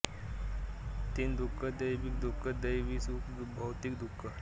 तीन दुख दैहिक दुख दैवी दुख भौतिक दुख